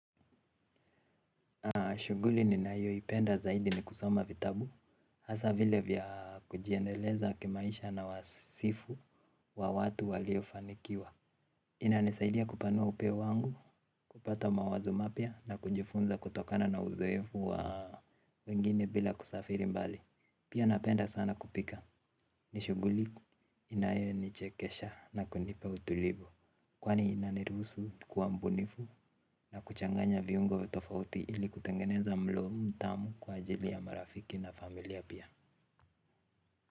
Shughuli ninayoipenda zaidi ni kusoma vitabu. Hasa vile vya kujiendeleza kimaisha na wasifu wa watu waliofanikiwa. Inanisaidia kupanua upeo wangu, kupata mawazo mapya na kujifunza kutokana na uzoefu wengine bila kusafiri mbali. Pia napenda sana kupika. Ni shughuli inayo nichekesha na kunipa utulivu kwani inaniruhusu kuwa mbunifu na kuchanganya viungo tofauti ili kutengeneza mlo mtamu kwa ajili ya marafiki na familia pia.